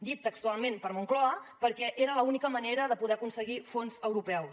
dit textualment per moncloa perquè era l’única manera de poder aconseguir fons europeus